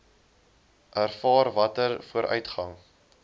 ervaar watter vooruitgang